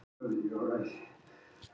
Síta, hvað er á áætluninni minni í dag?